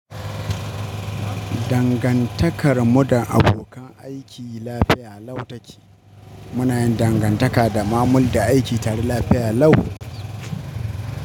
Dangantakar mu da abokan aiki lafiya lau take. Muna yin dangantaka da mamul da aiki tare lafiya lau.